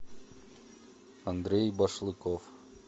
андрей башлыков